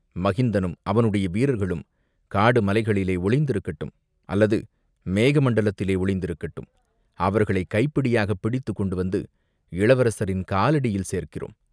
மகிந்தனும், அவனுடைய வீரர்களும் காடு மலைகளிலே ஒளிந்திருக்கட்டும், அல்லது மேக மண்டலத்திலே ஒளிந்திருக்கட்டும், அவர்களைக் கைப்பிடியாகப் பிடித்துக் கொண்டு வந்து இளவரசரின் காலடியில் சேர்க்கிறோம்.